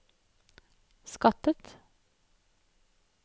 skattet